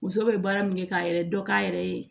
Muso bɛ baara min kɛ k'a yɛrɛ dɔ k'a yɛrɛ ye